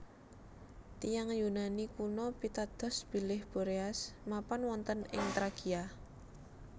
Tiyang Yunani kuno pitados bilih Boreas mapan wonten ing Trakia